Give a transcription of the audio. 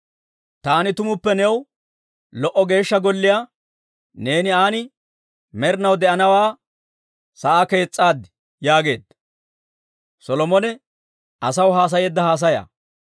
Taani tumuppe new lo"o Geeshsha Golliyaa, neeni aan med'inaw de'anasaa kees's'aaddi» yaageedda.